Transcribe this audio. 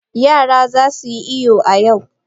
Yara za su yi iyo a yau.